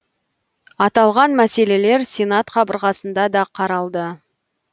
аталған мәселелер сенат қабырғасында да қаралды